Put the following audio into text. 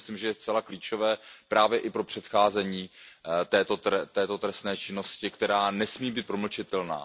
To si myslím, že je zcela klíčové právě i pro předcházení této trestné činnosti, která nesmí být promlčitelná.